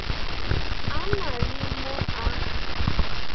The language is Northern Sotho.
a na le mo a